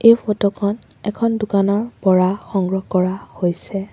এই ফটো খন এখন দোকানৰ পৰা সংগ্ৰহ কৰা হৈছে।